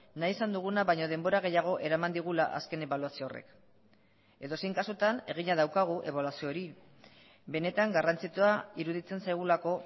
nahi izan duguna baina denbora gehiago eraman digula azken ebaluazio horrek edozein kasutan egina daukagu ebaluazio hori benetan garrantzitsua iruditzen zaigulako